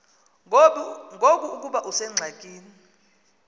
ngoku ukuba usengxakini